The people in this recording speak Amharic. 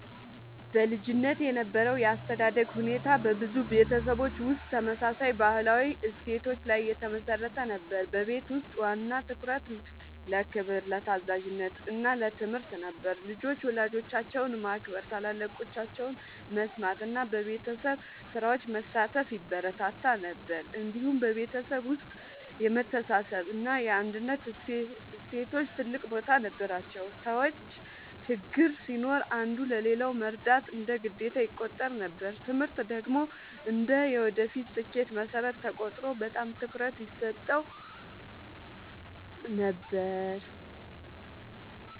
በልጅነት የነበረው የአስተዳደግ ሁኔታ በብዙ ቤተሰቦች ውስጥ ተመሳሳይ ባህላዊ እሴቶች ላይ የተመሠረተ ነበር። በቤት ውስጥ ዋና ትኩረት ለክብር፣ ለታዛዥነት እና ለትምህርት ነበር። ልጆች ወላጆቻቸውን ማክበር፣ ታላላቆቻቸውን መስማት እና በቤተሰብ ስራዎች መሳተፍ ይበረታታ ነበር። እንዲሁም በቤተሰብ ውስጥ የመተሳሰብ እና የአንድነት እሴቶች ትልቅ ቦታ ነበራቸው። ሰዎች ችግር ሲኖር አንዱ ለሌላው መርዳት እንደ ግዴታ ይቆጠር ነበር። ትምህርት ደግሞ እንደ የወደፊት ስኬት መሠረት ተቆጥሮ በጣም ትኩረት ይሰጠው ነበር።